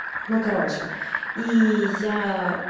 ну короче и я